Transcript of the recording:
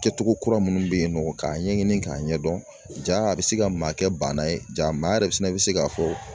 Kɛcogo kura minnu bɛ yen nɔ k'a ɲɛɲini k'a ɲɛdɔn ja a bɛ se ka maa kɛ baana ye ja maa yɛrɛ fana bɛ se k'a fɔ